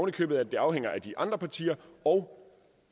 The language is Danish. i købet at det afhænger af de andre partier og